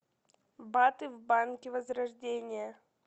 баты в банке возрождение